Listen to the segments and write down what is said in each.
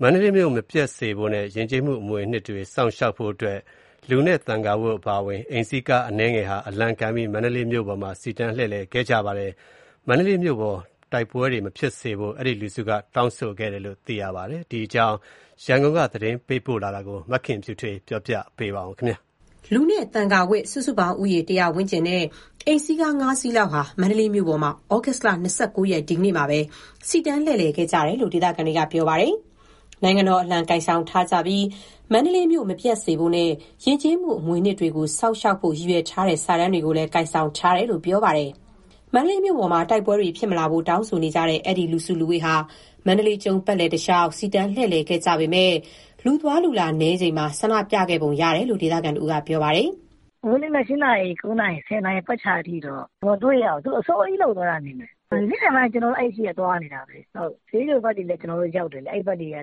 မန္တလေးမြို့ မပျက်စေဖို့နဲ့ ယဉ်ကျေးမှုအမွေအနှစ်တွေ စောင့်ရှောက်ဖို့အတွက်ဆိုပြီး လူနဲ့ သံဃာဝတ် အပါအဝင် အိမ်စီးကား အနည်းငယ်ဟာ အလံကိုင်ပြီး မန္တလေးမြို့ပေါ်မှာ စီတန်းလှည့်လည်ခဲ့ကြပါတယ်။ မန္တလေးမြို့ပေါ်မှာ တိုက်ပွဲတွေမဖြစ်စေဖို့ အဲဒီလူတစုက တောင်းဆိုခဲ့ကြတယ်လို့ သိရပါတယ်။ ဒီအကြောင်း ရန်ကုန်က သတင်း ပေးပို့ထားပါတယ်။ လူနဲ့ သံဃာဝတ် စုစုပေါင်းဦးရေ ၁၀၀ ဝန်းကျင်နဲ့ အိမ်စီးကား ၅စီးလောက်ဟာ မန္တလေးမြို့ပေါ်မှာ ဩဂုတ်လ ၂၉ ရက်၊ ဒီကနေ့မှာ စီတန်း လှည့်လည်ခဲ့ကြတယ်လို့ ဒေသခံတွေက ပြောပါတယ်။ နိုင်ငံတော်အလံ ကိုင်ဆောင်ထားကြပြီး၊ မန္တလေးမြို့ မပျက်စေဖို့နဲ့ ယဉ်ကျေးမှု အမွေအနှစ်တွေကို စောင့်ရှောက်ဖို့ ရည်ညွှန်းထားတဲ့ စာတန်းတွေကိုလည်း ကိုင်ဆောင်ထားတယ်လို့ ဆိုပါတယ်။ မန္တလေးမြို့ပေါ်မှာ တိုက်ပွဲတွေဖြစ်မလာဖို့ တောင်းဆိုနေကြတဲ့ အဲဒီ လူစုလူဝေးဟာ မန္တလေးကျုံး ပတ်လည်တလျှောက် စီတန်းလှည့်လည်ခဲ့ပေမယ့် လူသွားလူလာနည်းချိန်မှာ ဆန္ဒပြခဲ့ပုံရတယ်လို့ ဒေသခံတဦးက ပြောပါတယ်။ "အခုနေ့မနက် ၈နာရီ၊ ၉နာရီ၊ ၁၀နာရီ ပတ်ချာလည်အထိတော့ မတွေ့ရဘူး။ သူတို့အစောကြီး လုပ်သွားတာနေမယ်။ နေ့လည်ပိုင်းက ကျနော်တို့ အဲအရှေ့က သွားနေတာပဲ။ စျေးချိုဘက်တွေလည်း ကျနော်တို့ရောက်တယ်ဗျ။ လမ်း ၈၀ ကနေ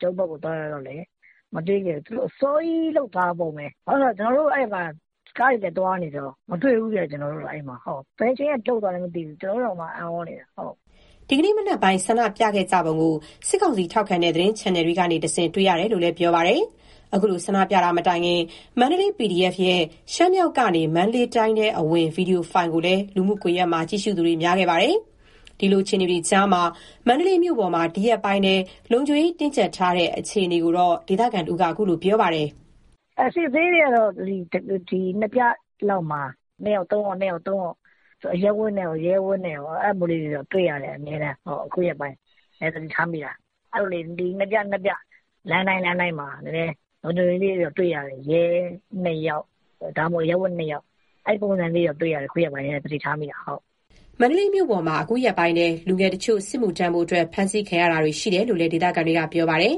ကျုံးဘက်ကို သွားတဲ့အထိလည်း ရောက်တယ်။ မတွေ့ခဲ့ဘူး။ ကျနော်တို့ အဲဒီမှာ ကားတွေလည်း သွားနေတာဆိုတော့ မတွေ့ဘူးဗျ။ ဘယ်အချိန်က လုပ်သွားလည်းမသိဘူး။ ကျနော်တို့တောင်မှ အံ့ဩနေတာ။" ဒီကနေ့မနက်ပိုင်း ဆန္ဒပြခဲ့ကြပုံကို စစ်ကောင်စီထောက်ခံတဲ့ ချန်နယ်တွေကနေတဆင့် တွေ့ရတယ်လို့ ပြောပါတယ်။ အခုလို ဆန္ဒပြတာမတိုင်ခင် မန္တလေး PDF ရဲ့ ရှမ်းမြောက်ကနေ မန္တလေးတိုင်းထဲအဝင် ဗီဒီယိုဖိုင်လည်း လူမှုကွန်ရက်မှာ ကြည့်ရှုသူများခဲ့ပါတယ်။ ဒီလို အခြေအနေတွေကြား မန္တလေးမြို့ပေါ်မှာ ဒီရက်ပိုင်းထဲ လုံခြုံရေးတင်းကြပ်ထားတဲ့ အနေအထားကို ဒေသခံတဦးက အခုလို ပြောပါတယ်။ "အစစ်အဆေးတွေကတော့ နှစ်ပြလောက်မှာ နှစ်ယောက်-သုံးယောက်လောက် အရပ်ဝတ်နဲ့ရော၊ ရဲဝတ်နဲ့ရော၊ အဲဒါမျိုးတော့ အမြဲတမ်း တွေ့ရတယ်။ အခုရက်ပိုင်း နည်းနည်းသတိထားမိတာ။ နှစ်ပြလောက်ပေါ့၊ လမ်းတိုင်းမှာ ရဲ ၂ယောက်၊ ဒါမှမဟုတ် အရပ်ဝတ် ၂ယောက်၊ အဲပုံစံမျိုးတော့ အခုရက်ပိုင်းထဲ တွေ့ရတယ်။" မန္တလေးမြို့ပေါ်မှာ အခုရက်ပိုင်းထဲ လူငယ်တချို့ စစ်မှုထမ်းဖို့အတွက် ဖမ်းဆီးခံရတာတွေ ရှိတယ်လို့လည်း ဒေသခံတွေက ပြောပါတယ်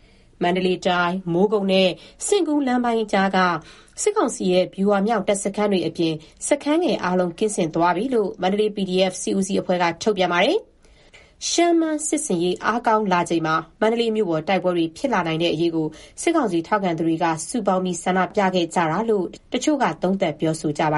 ။ မန္တလေးတိုင်း၊ မိုးကုတ်နဲ့ စဉ့်ကူးလမ်းပိုင်းကြားက စစ်ကောင်စီရဲ့ ဗျူဟာမြောက် တပ်စခန်းတွေအပြင် စခန်းငယ်အားလုံး ကင်းစင်သွားပြီလို့ မန္တလေး PDF စစ်ဦးစီးအဖွဲ့က ထုတ်ပြန်ထားပါတယ်။ ရှမ်း-မန်း စစ်ဆင်ရေး အားကောင်းလာချိန်မှာ မန္တလေးမြို့ပေါ် တိုက်ပွဲတွေဖြစ်လာနိုင်တဲ့ အရေးကို စစ်ကောင်စီထောက်ခံသူတွေက စုပေါင်းပြီး ဆန္ဒပြခဲ့ကြတယ်လို့ တချို့က သုံးသပ် ပြောဆိုကြပါ